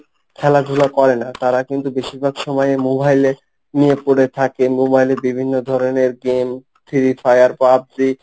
খেলাধুলা করে না তারা কিন্তু বেশিরভাগ সময়ই মোবাইলে নিয়ে পড়ে থাকে মোবাইলে বিভিন্ন ধরনের game, free fire, pubg।